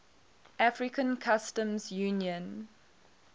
african customs union